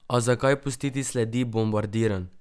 A zakaj pustiti sledi bombardiranj?